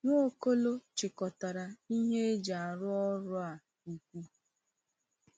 Nwaokolo chịkọtara ihe eji arụ ọrụ a ukwu.